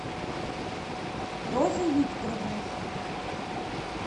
розой викторовной